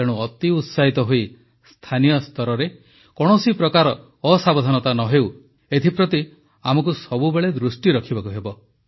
ତେଣୁ ଅତି ଉତ୍ସାହିତ ହୋଇ ସ୍ଥାନୀୟ ସ୍ତରରେ କୌଣସି ପ୍ରକାର ଅସାବଧାନତା ନ ହେଉ ଏଥିପ୍ରତି ଆମକୁ ସବୁବେଳେ ଦୃଷ୍ଟି ରଖିବାକୁ ହେବ